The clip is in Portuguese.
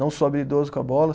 Não sou habilidoso com a bola.